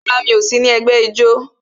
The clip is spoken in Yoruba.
Rárá, mi ò sí ní ẹgbẹ́ ijó